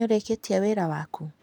Nĩũrĩkĩtie wĩra waku?